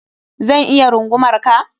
Zan iya rungumar ka?